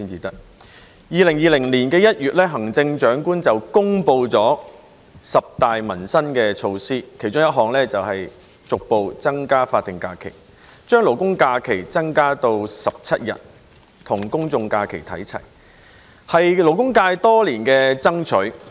在2020年1月，行政長官公布了十大民生措施，其中一項是逐步增加法定假日，把勞工假期增加至17天，與公眾假期看齊，這是勞工界多年所爭取的。